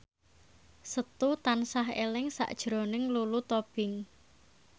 Setu tansah eling sakjroning Lulu Tobing